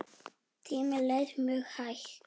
Tíminn leið mjög hægt.